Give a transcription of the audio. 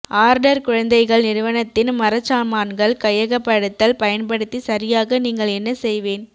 order குழந்தைகள் நிறுவனத்தின் மரச்சாமான்கள் கையகப்படுத்தல் பயன்படுத்தி சரியாக நீங்கள் என்ன செய்வேன்